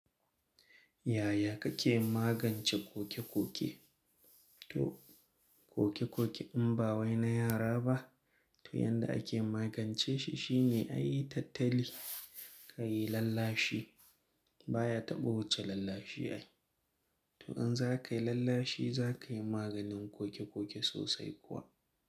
Yaya kake magance koke koke? To koke koke in ba wai na yara ba, to yanda ake magance shi shine ayi tattali, kayi lallashi baya taɓa wuce lallashi ai. To in za kayi lallashi za kayi maganin koke koke sosai kuwa.